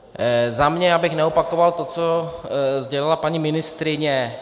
Za mě, abych neopakoval to, co sdělila paní ministryně.